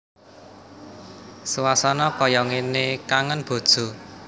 Suasana kaya ngene kangen bojo